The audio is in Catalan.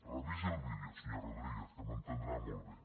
revisi el vídeo senyor rodríguez que m’entendrà molt bé